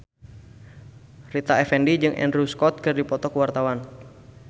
Rita Effendy jeung Andrew Scott keur dipoto ku wartawan